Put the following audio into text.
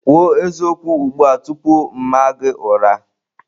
Kwuo eziokwu ugbu a tupu m aa gị ụra!